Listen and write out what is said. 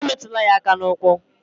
Emetụla ya aka n'ukwu